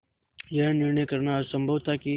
यह निर्णय करना असम्भव था कि